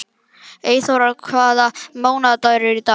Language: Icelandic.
Eyþóra, hvaða mánaðardagur er í dag?